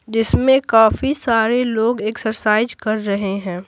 जिसमें काफी सारे लोग एक्सरसाइज कर रहे हैं।